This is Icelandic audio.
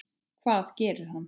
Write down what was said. Hvað gerir það?